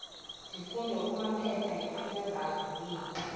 zifundo kumaphepha asesazulwini